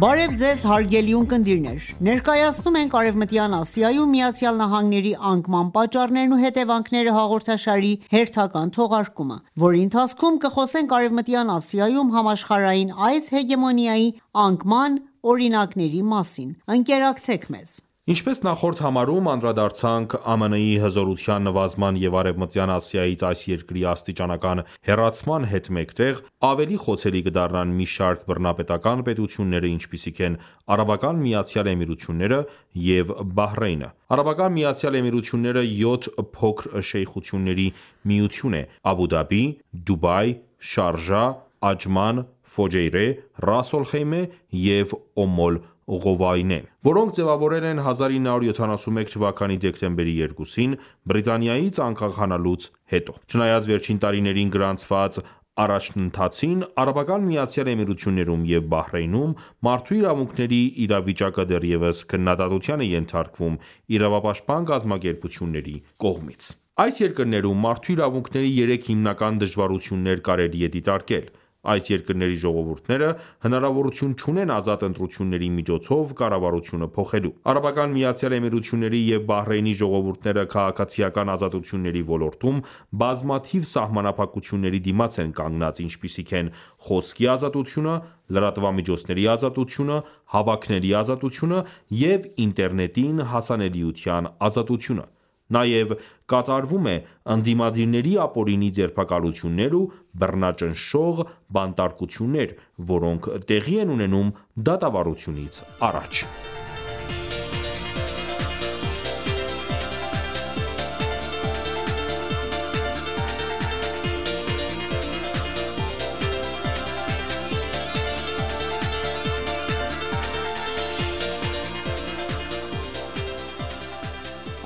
Բարև Ձեզ, հարգելի ունկնդիրներ: Ներկայացնում ենք «Արևմտյան Ասիայում ԱՄՆ-ի անկման պատճառներն ու հետևանքները» հաղորդաշարի հերթական թողարկումը, որի ընթացքում կխոսենք Արևմտյան Ասիայում համաշխարհային այս հեգեմոնիայի անկման օրինակների մասին: Ինչպես նախորդ համարում անդրադարձանք, ԱՄՆ-ի հզորության նվազման և Արևմտյան Ասիայից այս երկրի աստիճանական հեռացման հետ մեկտեղ, ավելի խոցելի կդառնան մի շարք բռնապետական պետությունները, ինչպիսիք են՝ Արաբական Միացյալ Էմիրությունները և Բահրեյնը։ Արաբական Միացյալ Էմիրությունները յոթ փոքր շեյխությունների միություն է՝ Աբու Դաբի, Դուբայ, Շարժա, Աջման, Ֆուջեյրա, Ռաս ալ Խեյմե և Օմ ալ Ղուվավեյուն, որոնք ձևավորվել են 1971 թվականի դեկտեմբերի 2-ին, Բրիտանիայից անկախանալուց հետո։ Չնայած վերջին տարիներին գրանցված առաջընթացին, Արաբական Միացյալ Էմիրություններում և Բահրեյնում մարդու իրավունքների իրավիճակը դեռևս քննադատության է ենթարկվում իրավապաշտպան կազմակերպությունների կողմից։ Այս երկրներում մարդու իրավունքների երեք հիմնական դժվարություններ կարելի է դիտարկել: Այս երկրների ժողովուրդները հնարավորություն չունեն ազատ ընտրությունների միջոցով կառավարությունը փոխելու։ Արաբական Միացյալ Էմիրությունների և Բահրեյնի ժողովուրդները քաղաքացիական ազատությունների ոլորտում բազմաթիվ սահմանափակությունների դիմաց են կանգնած, ինչպիսիք են՝ խոսքի ազատությունը, լրատվամիջոցների ազատությունը, հավաքների ազատությունը և ինտերնետին հասանելիության ազատությունը: Նաև կատարվում է ընդդիմադիրների ապօրինի ձերբակալություններ ու բռնաճնշող բանտարկություններ, որոնք տեղի են ունենում դատավարությունից առաջ։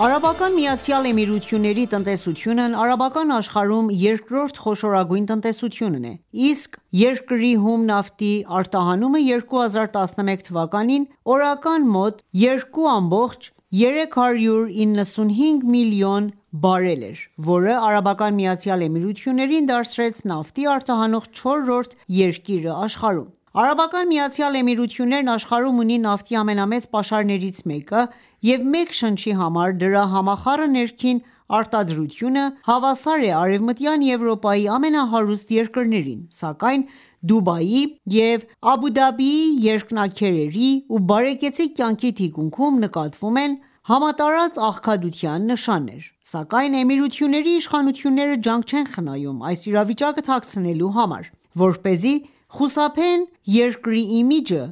Արաբական Միացյալ Էմիրությունների տնտեսությունն արաբական աշխարհում՝ երկրորդ խոշորագույն տնտեսությունն է, իսկ երկրի հում նավթի արտահանումը 2011 թվականին օրական մոտ 2.395 միլիոն բարել էր, որը ԱՄԷ-ին դարձրեց նավթ արտահանող չորրորդ երկիրը աշխարհում։ ԱՄԷ-ն աշխարհում ունի նավթի ամենամեծ պաշարներից մեկը և մեկ շնչի համար դրա համախառն ներքին արտադրությունը հավասար է Արևմտյան Եվրոպայի ամենահարուստ երկրներին, սակայն Դուբայի և Աբու Դաբիի երկնաքերերի և բարեկեցիկ կյանքի թիկունքում նկատվում են համատարած աղքատության նշաններ: Սակայն Էմիրությունների իշխանությունները ջանք չեն խնայում այս իրավիճակը թաքցնելու համար, որպեսզի խուսափեն երկրի իմիջը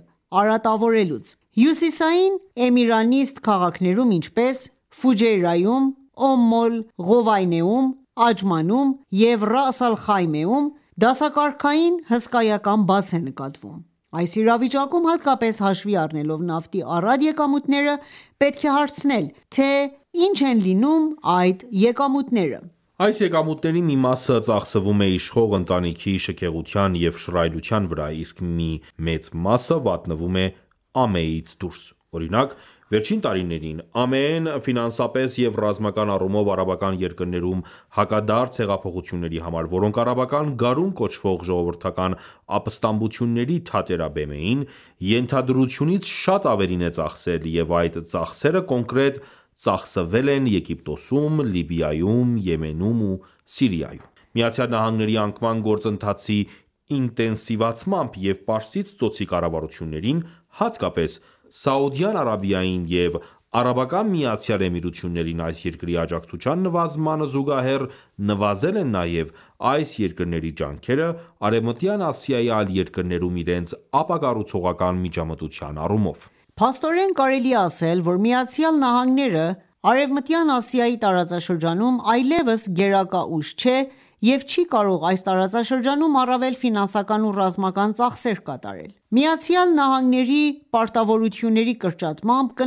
արատավորելուց: Հյուսիսային էմիրանիստ քաղաքներում, ինչպես՝Ֆուջեյրաում, Օմ ալ-Ղուվավեյնում ,Աջմանում և Ռաս ալ Խեյմեում, դասակարգային հսկայական բաց է նկատվում: Այս իրավիճակում, հատկապես հաշվի առնելով նավթի առատ եկամուտները, պետք է հարցնել, թե ի՞նչ են լինում այդ եկամուտները։ Այս եկամուտների մի մասը ծախսվում է իշխող ընտանիքի շքեղության և շռայլության վրա, իսկ մի մեծ մասը վատնվում է ԱՄԷ-ից դուրս։ Օրինակ, վերջին տարիներին ԱՄԷ-ն ,ֆինանսապես և ռազմական առումով արաբական երկրներում հակադարձ հեղափոխությունների համար, որոնք արաբական գարուն կոչվող ժողովրդական ապստամբությունների թատերաբեմ էին, ենթադրությունից շատ ավելին է ծախսել և այդ ծախսերը կոնկրետ ծախսվել են Եգիպտոսում, Լիբիայում, Եմենում և Սիրիայում: ԱՄՆ-ի անկման գործընթացի ինտենսիվացմամբ և Պարսից ծոցի կառավարություններին, հատկապես ՝Սաուդյան Արաբիային և Արաբական Միացյալ Էմիրություններին այս երկրի աջակցության նվազմանը զուգահեռ, նվազել են նաև այս երկրների ջանքերը՝ Արևմտյան Ասիայի այլ երկրներում իրենց ապակառուցողական միջամտության առումով: Փաստորեն, կարելի է ասել, որ ԱՄՆ-ը, Արեւմտյան Ասիայի տարածաշրջանում այլեւս գերակա ուժ չէ եւ չի կարող այս տարածաշրջանում առավել ֆինանսական ու ռազմական ծախսեր կատարել ։ ԱՄՆ-ի պարտավորությունների կրճատմամբ, կնվազի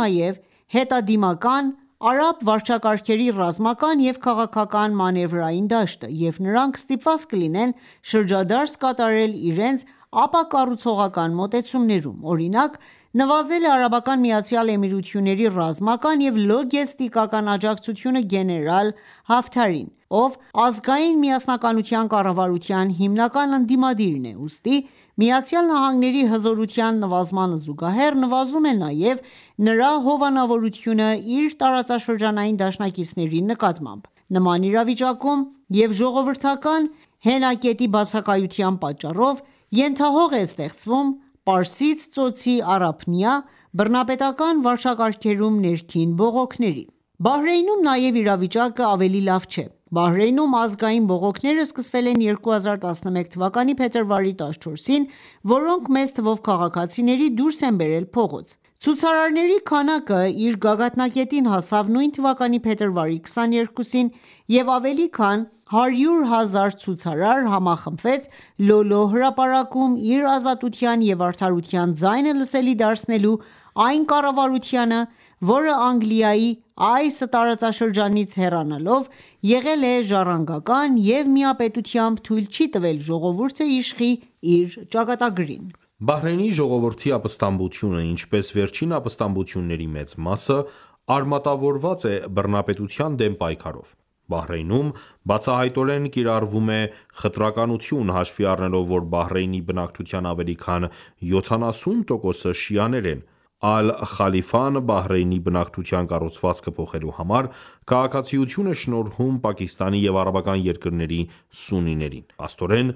նաև հետադիմական արաբ վարչակարգերի ռազմական և քաղաքական մանևրային դաշտը, և նրանք ստիպված կլինեն շրջադարձ կատարել իրենց ապակառուցողական մոտեցումներում։ Օրինակ՝ նվազել է Արաբական Միացյալ Էմիրությունների ռազմական և լոգեստիկական աջակցությունը գեներալ Հաֆթարին, ով ազգայն միասնականության կառավարության հիմնական ընդդիմադիրն է։ Ուստի ԱՄՆ-ի հզորության նվազմանը զուգահեռ, նվազում է նաև նրա հովանավորությունը իր տարածաշրջանային դաշնակիցների նկատմամբ։ Նման իրավիճակում և ժողովրդական հենակետի բացակայության պատճառով ենթահող է ստեղծվում Պարսից ծոցի առափնյա բռնապետական վարչակարգերում ներքին բողոքների: Բահրեյնում նաև իրավիճակը ավելի լավ չէ: Բահրեյնում ազգային բողոքները սկսվել են 2011 թվականի փետրվարի 14-ին, որոնք մեծ թվով քաղաքացիների դուրս են բերել փողոց: Ցուցարարների քանակը իր գագաթնակետին հասավ նույն թվականի փետրվարի 22-ին և ավելի քան 100.000 ցուցարար համախմբվեց «Լո Լո» հրապարակում՝ իր ազատության և արդարության ձայնը լսելի դարձնելու այն կառավարությանը, որը Անգլիայի այս տարածաշրջանից հեռանալով ,եղել է ժառանգական և միապետությամբ թույլ չի տվել ժողովուրդը իշխի իր ճակատագրին: Բահրեյնի ժողովրդի ապստամբությունը, ինչպես վերջին ապստամբությունների մեծ մասը, արմատավորված է բռնապետության դեմ պայքարով: Բահրեյնում բացահայտորեն կիրառվում է խտրականություն՝ հաշվի առնելով, որ Բահրեյնի բնակչության ավելի քան յոթանասուն տոկոսը շիաներ են, Ալ-Խալիֆան Բահրեյնի բնակչության կառուցվածքը փոխելու համար, քաղաքացիություն է շնորհում Պակիստանի և արաբական երկրների սուննիներին: Փաստորեն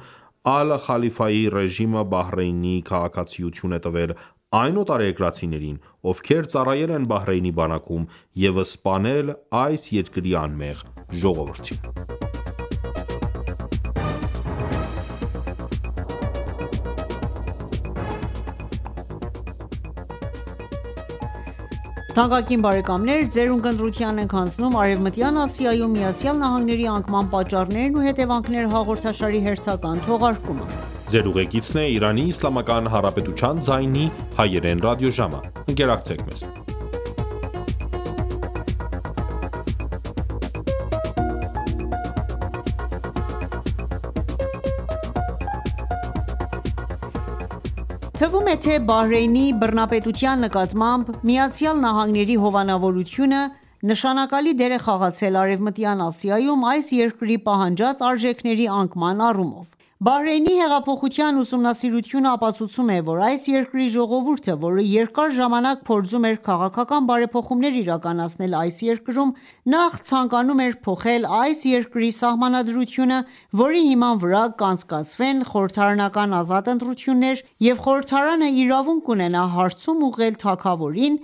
Ալ-Խալիֆայի ռեժիմը Բահրեյնի քաղաքացիություն է տվել այն օտարերկրացիներին, ովքեր ծառայել են Բահրեյնի բանակում և սպանել այս երկրի անմեղ ժողովրդին: Թվում է, թե Բահրեյնի բռնապետության նկատմամբ ԱՄՆ-ի հովանավորությունը նշանակալի դեր է խաղացել Արևմտյան Ասիայում այս երկրի պահանջած արժեքների անկման առումով։ Բահրեյնի հեղափոխության ուսումնասիրությունը ապացուցում է, որ այս երկրի ժողովուրդը, որը երկար ժամանակ փորձում էր քաղաքական բարեփոխումներ իրականացնել այս երկրում, նախ ցանկանում էր փոխել այս երկրի սահմանադրությունը, որի հիման վրա կանցկացվեն խորհրդարանական ազատ ընտրություններ և խորհրդարանը իրավունք կունենա հարցում ուղղել թագավորին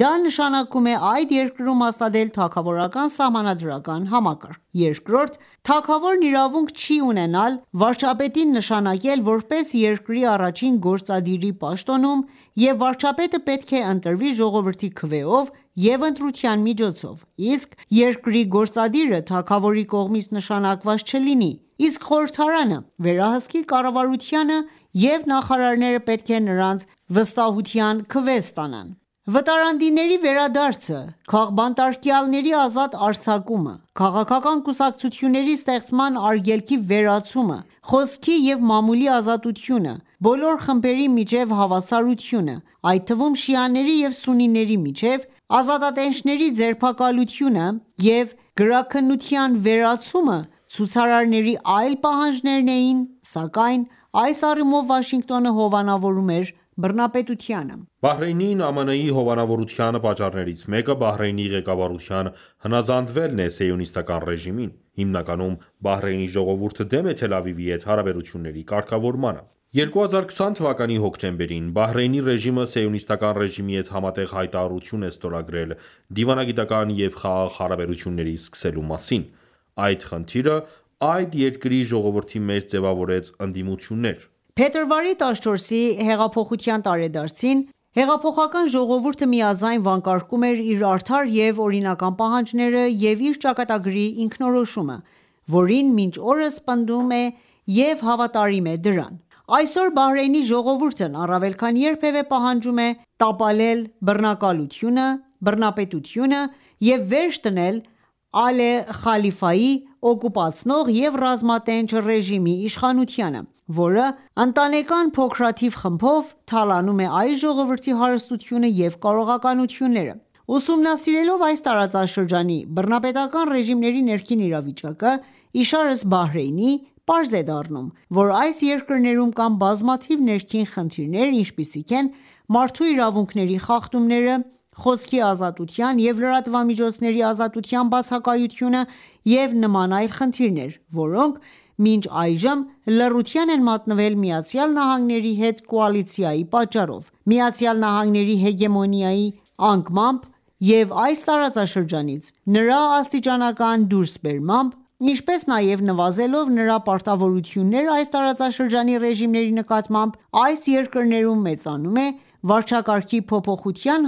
,դա նշանակում է այդ երկրում հաստատել թագավորական սահմանադրական համակարգ: Երկրորդ՝ թագավորն իրավունք չի ունենալ վարչապետին նշանակել ,որպես երկրի առաջին գործադիրի պաշտոնում և վարչապետը պետք է ընտրվի ժողովրդի քվեով և ընտրության միջոցով ,իսկ երկրի գործադիրը թագավորի կողմից նշանակված չլինի ,իսկ խորհրդարանը վերահսկի կառավարությանը եւ նախարարները պետք է նրանից վստահության քվե ստանան: Վտարանդիների վերադարձը, քաղբանտարկյալների ազատ արձակումը, քաղաքական կուսակցությունների ստեղծման արգելքի վերացումը, խոսքի և մամուլի ազատությունը, բոլոր խմբերի միջև հավասարությունը, այդ թվում՝ շիաների և սուննիների միջև, ազատատենչների ձերբակալությունը և գրաքննության վերացումը՝ցուցարարների այլ պահանջներն էին, սակայն այս առումով Վաշինգտոնը հովանավորում էր բռնապետությանը: Բահրեյնին ,ԱՄՆ-ի հովանավորության պատճառներից մեկը Բահրեյնի ղեկավարության հնազանդվելն է սիոնիստական ռեժիմին: Հիմնականում Բահրեյնի ժողովուրդը դեմ է Թել Ավիվի հետ հարաբերությունների կարգավորմանը։2020 թվականի հոկտեմբերին ,Բահրեյնի ռեժիմը ,սիոնիստական ռեժիմի հետ համատեղ հայտարարություն է ստորագրել դիվանագիտական և խաղաղ հարաբերություններ սկսելու մասին։ Այդ խնդիրը այդ երկրի ժողովրդի մեջ ձևավորեց ընդդիմություններ: Փետրվարի 14-ի հեղափոխության տարեդարձին ,հեղափոխական ժողովուրդը միաձայն վանկարկում էր իր արդար և օրինական պահանջները և իր ճակատագրի ինքնորոշումը, որին մինչ օրս պնդում է և հավատարիմ է դրան։ Այսօր Բահրեյնի ժողովուրդն առավել քան երբևե պահանջում է տապալել բռնակալությունը, բռնապետությունը և վերջ դնել Ալ Խալիֆայի օկուպացնող և ռազմատենչ ռեժիմի իշխանությանը, որը ընտանեկան փոքրաթիվ խմբով թալանում է այս ժողովրդի հարստությունը և կարողականությունները: Ուսումնասիրելով այս տարածաշրջանի բռնապետական ռեժիմների ներքին իրավիճակը ,իշարս Բահրեյնի, պարզ է դառնում, որ այս երկրներում կան բազմաթիվ ներքին խնդիրներ, ինչպիսիք են՝ մարդու իրավունքների խախտումները, խոսքի ազատության և լրատվամիջոցների ազատության բացակայությունը, և նման այլ խնդիրներ, որոնք մինչ այժմ լռության են մատնվել ԱՄՆ-ի հետ կոալիցիայի պատճառով: ԱՄՆ-ի հեգեմոնիայի անկմամբ և այս տարածաշրջանից նրա աստիճանական դուրսբերմամբ, ինչպես նաև նվազելով նրա պարտավորությունները այս տարածաշրջանի ռեժիմների նկատմամբ, այս երկրներում մեծանում է վարչակարգի փոփոխության